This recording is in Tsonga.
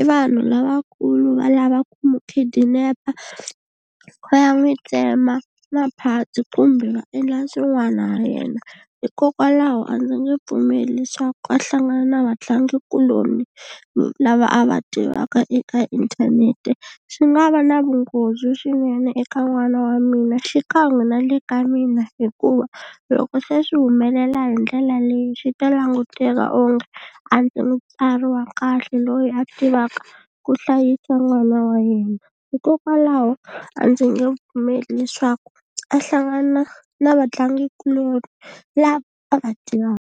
i vanhu lavakulu va lava ku mi khidinepa va ya n'wi tsema ma-parts kumbe va endla swin'wana ha yena hikokwalaho a ndzi nge pfumeli leswaku a hlangana na vatlangikuloni lava a va tivaka eka inthanete swi nga va na vunghozi swinene eka n'wana wa mina xikan'we na le ka mina hikuva loko se swi humelela hi ndlela leyi swi ta languteka onge a ndzi mutswari wa kahle loyi a tivaka ku hlayisa n'wana wa yena hikokwalaho a ndzi nge pfumeli leswaku a hlangana na vatlangikuloni lava a va .